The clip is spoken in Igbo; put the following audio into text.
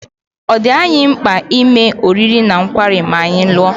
Ọ̀ dị anyị mkpa ime oriri na nkwari ma anyị lụọ?